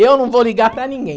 Eu não vou ligar para ninguém.